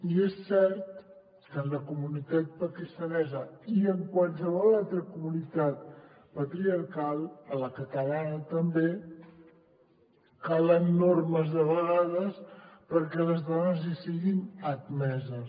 i és cert que en la comunitat pakistanesa i en qualsevol altra comunitat patriarcal a la catalana també calen normes de vegades perquè les dones hi siguin admeses